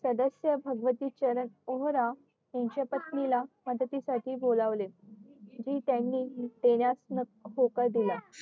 सदस्य भगवती ओहारा यांच्या पत्नीला मदतीसाठी बोलावले ती त्यांनी देण्यास होकार दिला